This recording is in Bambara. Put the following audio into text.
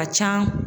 Ka ca